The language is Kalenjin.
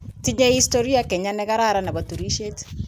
Tinye kenya istoria ne kararan ne bo turishe.